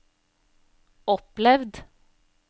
opplevd